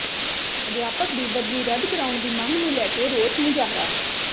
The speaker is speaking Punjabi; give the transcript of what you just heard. ਅਧਿਆਪਕ ਦੀ ਬਦਲੀ ਰੱਦ ਕਰਾਉਣ ਦੀ ਮੰਗ ਨੂੰ ਲੈ ਕੇ ਰੋਸ ਮੁਜ਼ਾਹਰਾ